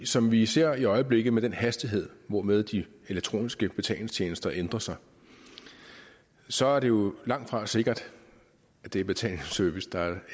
som vi ser det i øjeblikket med den hastighed hvormed de elektroniske betalingstjenester ændrer sig så er det jo langtfra sikkert at det er betalingsservice der er et